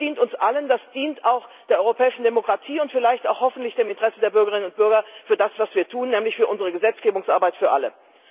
Das dient uns allen, und das dient auch der europäischen Demokratie und hoffentlich auch dem Interesse der Bürgerinnen und Bürger für das, was wir tun, nämlich für unsere Gesetzgebungsarbeit für alle.